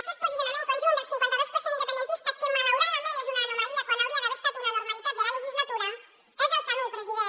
aquest posicionament conjunt del cinquanta dos per cent independentista que malauradament és una anomalia quan hauria d’haver estat una normalitat de la legislatura és el camí president